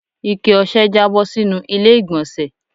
Ikẹ ọ̀sẹ̀ jabo sínú ilé igbonse